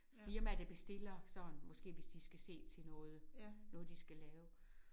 Firmaer der bestiller sådan måske hvis de måske skal se til noget noget de skal lave